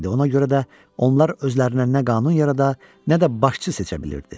Ona görə də onlar özlərinə nə qanun yarada, nə də başçı seçə bilirdi.